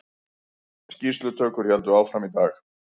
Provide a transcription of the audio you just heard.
Skýrslutökur héldu áfram í dag